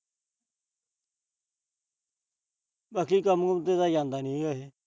ਬਾਕੀ ਕੰਮ-ਕੂੰਮ ਤੇ ਤਾਂ ਜਾਂਦਾ ਨੀ ਇਹ।